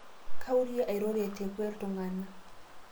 Kaurie airoro tekwe ltungana